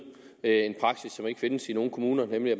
en praksis som ikke findes i nogen kommuner nemlig at